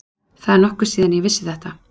Það er nokkuð síðan ég vissi þetta.